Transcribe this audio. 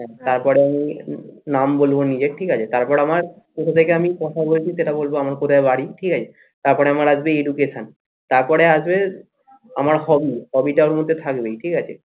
হ্যাঁ তারপরে আমি নাম বলবো নিজের ঠিক আছে তারপরে আমার কোথা থেকে আমি কথা বলছি সেটা বলবো আমার কোথায় বাড়ি ঠিক আছে তারপরে আমার আসবে education তারপরে আসবে আমার hobby hobby টা এরমধ্যে থাকবে ঠিক আছে?